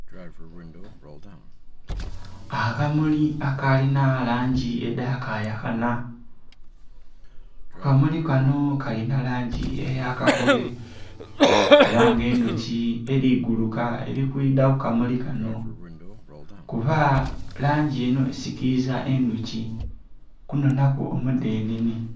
Akamuli akalinha langi edhaka yakanha, akamuli kanho kalinha langi eya kakobe era nga edhuki eri guluka eri kwidha ku kamuli kanho kuba langi enho esikiliza endhuki okunona ku omudhenene.